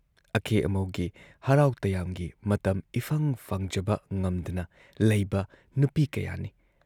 ꯑꯀꯦ ꯑꯃꯧꯒꯤ ꯍꯔꯥꯎ ꯇꯌꯥꯝꯒꯤ ꯃꯇꯝ ꯏꯐꯪ ꯐꯪꯖꯕ ꯉꯝꯗꯅ ꯂꯩꯕ ꯅꯨꯄꯤ ꯀꯌꯥꯅꯤ ꯫